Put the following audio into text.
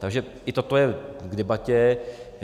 Takže i toto je k debatě.